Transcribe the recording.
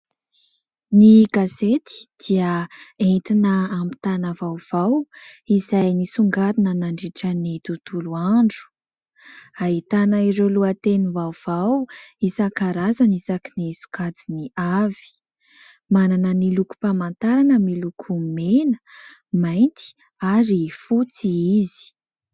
Ny gazety dia entina ampitana vaovao izay nisongadina nandritran'ny tontolo andro. Ahitana ireo lohatenim-baovao isan-karazany isaky ny sokajiny avy. Manana ny lokom-pamatarana miloko mena, mainty ary ny fotsy izy.